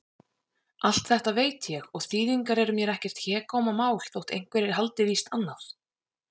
Allt þetta veit ég- og þýðingar eru mér ekkert hégómamál, þótt einhverjir haldi víst annað.